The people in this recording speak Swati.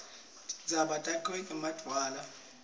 tintsaba takhiwe ngemadwala